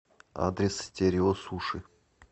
адрес стерео суши